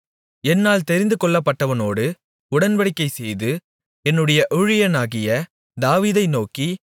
என்னால் தெரிந்துகொள்ளப்பட்டவனோடு உடன்படிக்கை செய்து என்னுடைய ஊழியனாகிய தாவீதை நோக்கி